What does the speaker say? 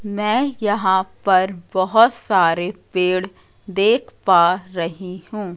मैं यहां पर बहोत सारे पेड़ देख पा रही हूं।